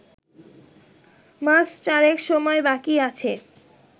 মাস চারেক সময় বাকি আছে